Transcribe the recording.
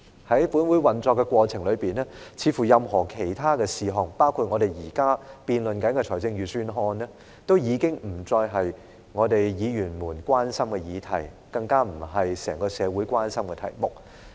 在本會的運作過程中，似乎任何其他事項，包括我們現正辯論的預算案，都已不是議員們關注的議題，更不是整個社會關心的題目。